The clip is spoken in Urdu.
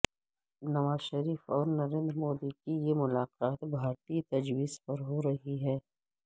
نواز شریف اور نریندر مودی کی یہ ملاقات بھارتی تجویز پر ہو رہی ہے